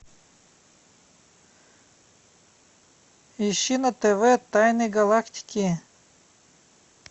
ищи на тв тайны галактики